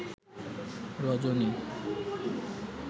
রজনী